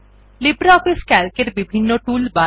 LibreOffice CALC এর বিভিন্ন toolbar